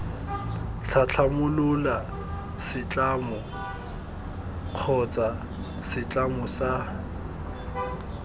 tlhatlhamolola setlamo kgotsa setlamo sa